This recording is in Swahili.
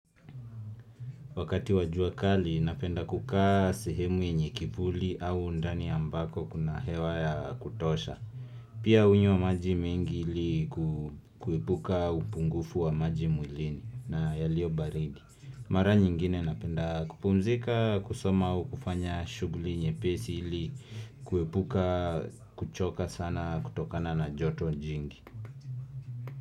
Wakati wa jua kali napenda kukaa sehemu yenye kivuli au ndani ambako kuna hewa ya kutosha. Pia hunywa maji mengi ili kuepuka upungufu wa maji mwilini na yalio baridi. Mara nyingine napenda kupumzika kusoma u kufanya shuguli nye pesi ili kuhepuka kuchoka sana kutokana na joto jingi.